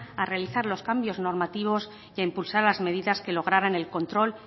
a realizar los cambios normativos y a impulsar las medidas que lograran el control